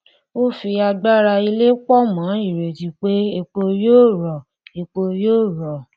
ó fi agbára ilẹ pọ mọ ìrètí pé epo yóò rọ epo yóò rọ